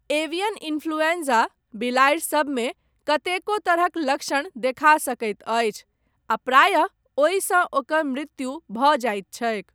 Avian influenza, बिलाड़ि सबमे, कतेको तरहक लक्षण देखा सकैत अछि, आ प्रायः ओहिसँ ओकर मृत्यु भऽ जाइत छैक।